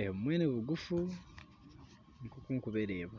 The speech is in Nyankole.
ebimwe nibiguufu nikwo ndikubireeba